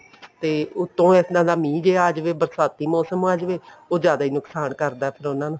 ਤੇ ਉੱਤੋਂ ਇੱਦਾਂ ਦਾ ਮੀਂਹ ਜਿਹਾ ਆ ਜਾਵੇ ਬਰਸਾਤੀ ਮੋਸਮ ਆ ਜਾਵੇ ਉਹ ਜ਼ਿਆਦਾ ਹੀ ਨੁਕਸਾਨ ਕਰਦਾ ਫ਼ੇਰ ਉਹਨਾ ਨੂੰ